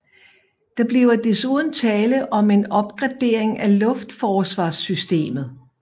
Der bliver desuden tale om en opgradering af luftforsvarssystemet